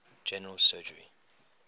general surgery